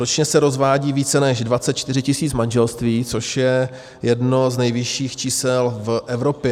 Ročně se rozvádí více než 24 tisíc manželství, což je jedno z nejvyšších čísel v Evropě.